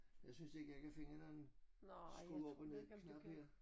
Jeg synes ikke jeg kan finde den skru op og ned knap her